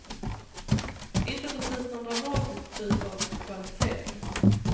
Inte precis nån dramatisk typ av kvalificering.